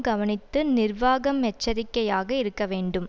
கவனித்து நிர்வாகம் எச்சரிக்கையாக இருக்க வேண்டும்